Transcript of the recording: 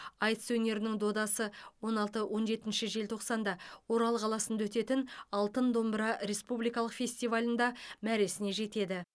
айтыс өнерінің додасы он алты он жетінші желтоқсанда орал қаласында өтетін алтын домбыра республикалық фестивалында мәресіне жетеді